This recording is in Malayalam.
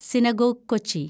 സിനഗോഗ്, കൊച്ചി